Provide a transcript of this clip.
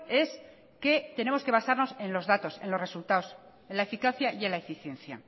es que tenemos que basarnos en los datos en los resultados en la eficacia y en la eficiencia